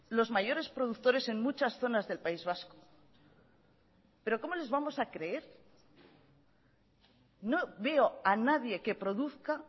los mayores productores en muchas zonas del país vasco pero cómo les vamos a creer no veo a nadie que produzca